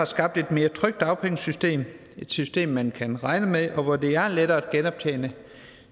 skabt et mere trygt dagpengesystem et system man kan regne med og hvor det er lettere at genoptjene